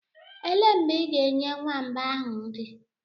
Elee mgbe ị ga-enye nwamba ahụ nri?